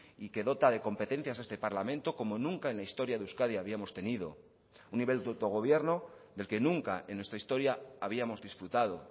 y que dota de competencias a este parlamento como nunca en la historia de euskadi habíamos tenido un nivel de autogobierno del que nunca en nuestra historia habíamos disfrutado